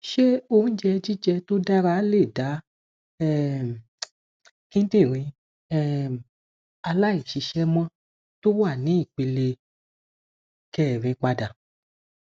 ṣé oúnjẹ jije tó dára lè da um kindinrin um aláìṣiṣẹmọ tó wà ní ìpele kẹrin pada